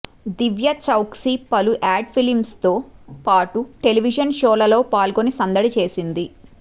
దివ్య చౌక్సీ పలు యాడ్ ఫిల్మ్స్తో పాటు టెలివిజన్ షోలలో పాల్గొని సందడి చేసింది